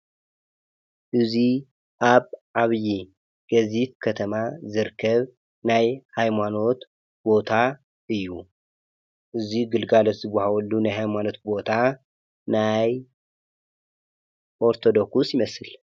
እዙይ ኣብ ዓብዪ ገዚፍ ከተማ ዝርከብ ናይ ሃይማኖት ቦታ እዩ፡፡ እዙይ ግልጋሎት ዝብሃበሉ ናይ ሃይማኖት ቦታ ናይ ኦርቶዶኩስ ይመስል፡፡